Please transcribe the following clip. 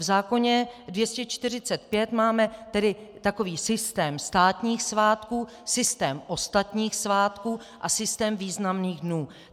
V zákoně 245 máme tedy takový systém státních svátků, systém ostatních svátků a systém významných dnů.